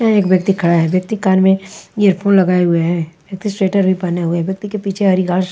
यहाँ एक व्यक्ति खड़ा है व्यक्ति कान में एयर फ़ोन लगाये हुए है व्यक्ति स्वेटर भी पहने हुए है व्यक्ति के पीछे हरी घास--